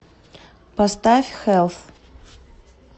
поставь хелс